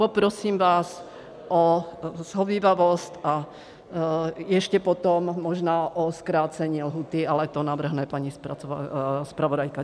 Poprosím vás o shovívavost a ještě potom možná o zkrácení lhůty, ale to navrhne paní zpravodajka.